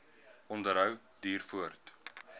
onderhou duur voort